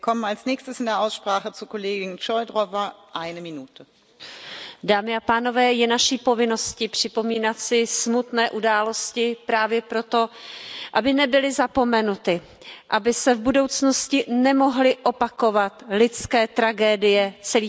Paní předsedající, dámy a pánové, je naší povinností připomínat si smutné události právě proto, aby nebyly zapomenuty, aby se v budoucnosti nemohly opakovat lidské tragédie celých národů.